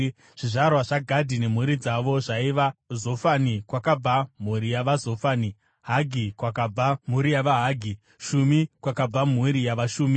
Zvizvarwa zvaGadhi nemhuri dzavo zvaiva: Zofani, kwakabva mhuri yavaZofani; Hagi, kwakabva mhuri yavaHagi; Shumi, kwakabva mhuri yavaShumi;